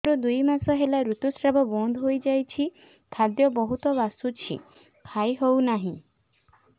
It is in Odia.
ମୋର ଦୁଇ ମାସ ହେଲା ଋତୁ ସ୍ରାବ ବନ୍ଦ ହେଇଯାଇଛି ଖାଦ୍ୟ ବହୁତ ବାସୁଛି ଖାଇ ହଉ ନାହିଁ